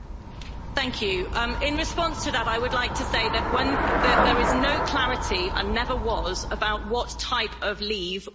In response to that, I would like to say that there is no clarity and never was about what type of leave was on the referendum.